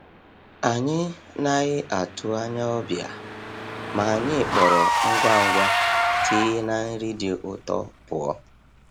Anyị naghị atụ anya ọbịa, ma anyị kpọrọ ngwa ngwa tii na nri dị ụtọ pụọ.